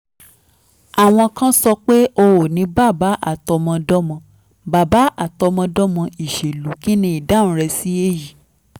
àwọn kan sọ pé o ní bàbá àtọmọdọ́mọ bàbá àtọmọdọ́mọ ìṣèlú kí ni ìdáhùn rẹ sí èyí?